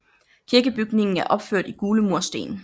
Kirkebygningen er opført i gule mursten